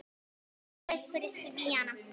Geysir gaus fyrir Svíana.